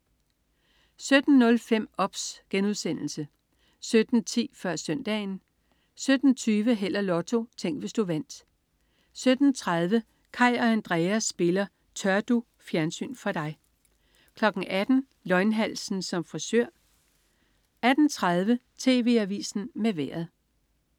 17.05 OBS* 17.10 Før Søndagen 17.20 Held og Lotto. Tænk, hvis du vandt 17.30 Kaj og Andrea spiller "Tør du?". Fjernsyn for dig 18.00 Løgnhalsen som frisør 18.30 TV Avisen med Vejret